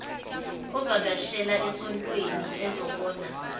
avakashele esoweto ezobona